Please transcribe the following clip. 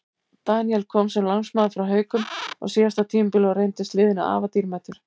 Daníel kom sem lánsmaður frá Haukum á síðasta tímabili og reyndist liðinu afar dýrmætur.